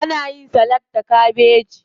Ana yin salak da kabeji.